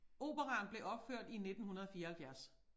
Operaen blev opført i 1974